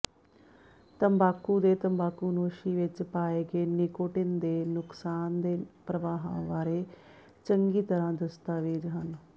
ਤੰਬਾਕੂ ਦੇ ਤੰਬਾਕੂਨੋਸ਼ੀ ਵਿਚ ਪਾਏ ਗਏ ਨਿਕੋਟਿਨ ਦੇ ਨੁਕਸਾਨਦੇਹ ਪ੍ਰਭਾਵਾਂ ਬਾਰੇ ਚੰਗੀ ਤਰ੍ਹਾਂ ਦਸਤਾਵੇਜ਼ ਹਨ